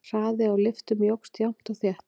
Hraði á lyftum jókst jafnt og þétt.